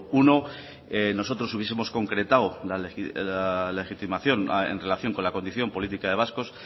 uno nosotros hubiesemos concretado la legitimación en relación con la condición política de vascos